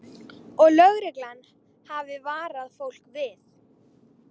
Og lögreglan hafi varað fólk við